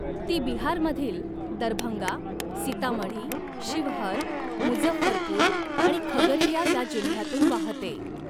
ती बिहारमधील दरभंगा, सीतामढी, शिवहर, मुझफ्फरपूर आणि खगरिया या जिल्ह्यातून वाहते.